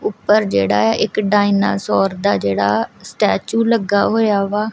ਊਪਰ ਜੇਹੜਾ ਹੈ ਇੱਕ ਡਾਇਨਾਸੌਰ ਦਾ ਜੇਹੜਾ ਸਟੈਚੂ ਲੱਗਾ ਹੋਇਆ ਵਾ।